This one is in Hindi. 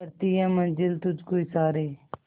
करती है मंजिल तुझ को इशारे